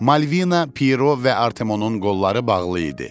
Malvina, Piro və Artemonun qolları bağlı idi.